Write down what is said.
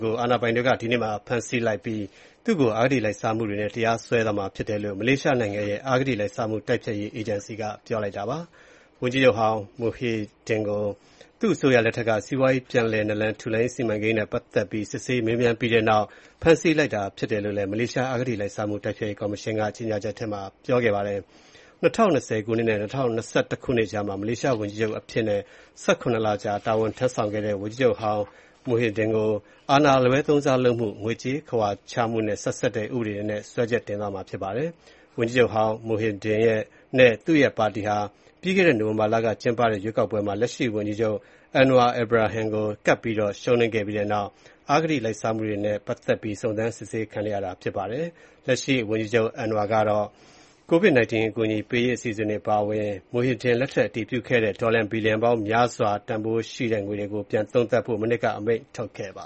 ကို အာဏာပိုင်တွေက ဒီနေ့မှာ ဖမ်းဆီးလိုက်ပြီး၊ သူ့ကို အဂတိလိုက်စားမှုတွေနဲ့ တရားစွဲဆိုသွားမှာ ဖြစ်တယ်လို့ မလေးရှားနိုင်ငံရဲ့ အဂတိလိုက်စားမှုတိုက်ဖျက်ရေး အေဂျင်စီက ပြောလိုက်ပါတယ်။ ဝန်ကြီးချုပ်ဟောင်း Muhyiddin ကို သူ့အစိုးရလက်ထက်က စီးပွားရေးပြန်လည်နလန်ထူရေးစီမံကိန်း နဲ့ပတ်သက်ပြီး စစ်ဆေးမေးမြန်းခဲ့ပြီးတဲ့နောက်၊ ဖမ်းဆီးလိုက်တာဖြစ်တယ်လို့ မလေးရှားအဂတိလိုက်စားမှုတိုက်ဖျက်ရေးကော်မရှင်က ကြေငြာချက်ထဲမှာ ပြောထားပါတယ်။ ၂၀၂၀ နဲ့ ၂၀၂၁ ခုနှစ်ကြားမှာ မလေးရှားဝန်ကြီးချုပ်အဖြစ်နဲ့ ၁၇ လ ကြာတာဝန်ထမ်းဆောင်ခဲ့တဲ့ ဝန်ကြီးချုပ်ဟောင်း Muhyiddin ကို အာဏာအလွဲသုံးစားလုပ်မှု၊ ငွေကြေးခဝါချမှုနဲ့ ဆက်စပ်တဲ့ ဥပဒေတွေနဲ့ စွဲချက်တင်သွားမှာဖြစ်ပါတယ်။ ဝန်ကြီးချုပ်ဟောင်း Muhyiddin နဲ့ သူ့ရဲ့ပါတီဟာ ပြိးခဲ့တဲ့ နိုဝင်ဘာလက ကျင်းပခဲ့တဲ့ ရွေးကောက်ပွဲမှာ လက်ရှိဝန်ကြီးချုပ် Anwar Ibrahim ကို ကပ်ပြီးတော့ ရှုံးနိမ့်ပြီးတဲ့နောက် အဂတိလိုက်စားမှုတွေနဲ့ပတ်သက်ပြီး စုံစမ်းစစ်ဆေးခံနေရတာဖြစ်ပါတယ်။ လက်ရှိဝန်ကြီးချုပ် Anwar ကတော့ ကိုဗစ် ၁၉ အကူအညီပေးရေးအစီအစဉ်တွေအပါအဝင် Muhyiddin လက်ထက်က အတည်ပြုခဲ့တဲ့ ဒေါ်လာဘီလျံပေါင်းများစွာတန်တဲ့ အစိုးရစီမံကိန်းတွေကို ပြန်ပြီးတော့ သုံးသပ်ဖို့ မနှစ်က အမိန့်ထုတ်ခဲ့ပ